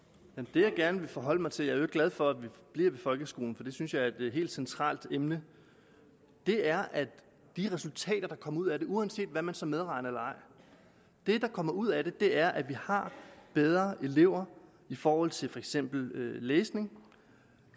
jeg gerne vil forholde mig til jeg øvrigt glad for at vi bliver ved folkeskolen for det synes jeg er et helt centralt emne er at de resultater der kommer ud af det uanset hvad man så medregner eller ej det der kommer ud af det er at vi har bedre elever i forhold til for eksempel læsning